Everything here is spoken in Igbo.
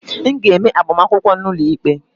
M ga-eme agbamakwụkwọ n'ụlọikpe